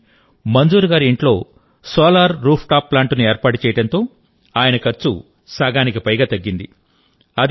కానీమంజూర్ గారి ఇంట్లో solar rooftop ప్లాంట్ను ఏర్పాటు చేయడంతో ఆయన ఖర్చు సగానికి పైగా తగ్గింది